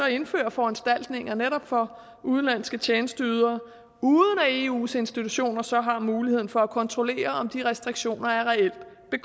indføre foranstaltninger netop for udenlandske tjenesteydere uden at eus institutioner så har mulighed for at kontrollere om de restriktioner er reelt